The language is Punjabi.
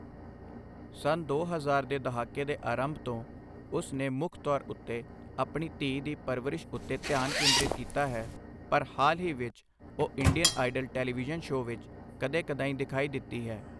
ਸੰਨ ਦੋ ਹਜ਼ਾਰ ਦੇ ਦਹਾਕੇ ਦੇ ਅਰੰਭ ਤੋਂ, ਉਸ ਨੇ ਮੁੱਖ ਤੌਰ ਉੱਤੇ ਆਪਣੀ ਧੀ ਦੀ ਪਰਵਰਿਸ਼ ਉੱਤੇ ਧਿਆਨ ਕੇਂਦ੍ਰਿਤ ਕੀਤਾ ਹੈ, ਪਰ ਹਾਲ ਹੀ ਵਿੱਚ ਉਹ ਇੰਡੀਅਨ ਆਈਡਲ ਟੈਲੀਵਿਜ਼ਨ ਸ਼ੌ ਵਿਚ ਕਦੇ ਕਦਾਈਂ ਦਿਖਾਈ ਦਿੱਤੀ ਹੈ।